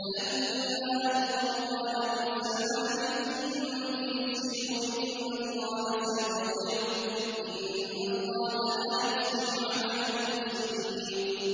فَلَمَّا أَلْقَوْا قَالَ مُوسَىٰ مَا جِئْتُم بِهِ السِّحْرُ ۖ إِنَّ اللَّهَ سَيُبْطِلُهُ ۖ إِنَّ اللَّهَ لَا يُصْلِحُ عَمَلَ الْمُفْسِدِينَ